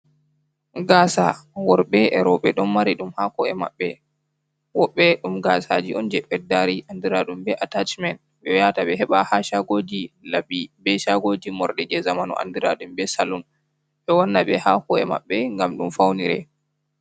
Gaasa, worbe, e rawɓe ɗon mari ɗum, haa ko’e maɓbe, wobɓe ɗum gaasaji on je beddari, andiraaɗum be atashimen, ɓeyahata ɓe heeɓa ha shagooji laɓɓukii be shagoji moorɗi je zamanu andiraɗum be salun, ɓewatta ɓe haa ko’e maɓɓe gam ɗum faunira.